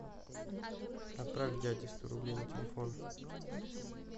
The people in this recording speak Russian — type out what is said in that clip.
отправь дяде сто рублей на телефон